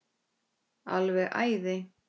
Alveg æði.